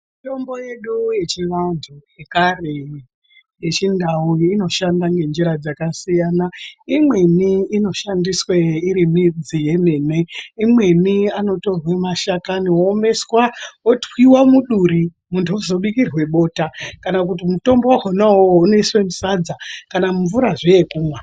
Mitombo yedu yechivantu yekare iyi yechindau inoshanda ngenjira dzakasiyana. Imweni inoshandiswe iri midzi yemene, imweni anotorwe mashakani oomeswa otwiwa muduri muntu ozobikirwe bota. Kana kuti mutombo wakhona uwowo unoiswa musadza, kana mumvurazve yekumwa.